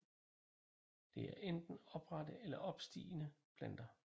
Det er enten oprette eller opstigende planter